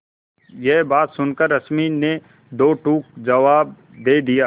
यह बात सुनकर रश्मि ने दो टूक जवाब दे दिया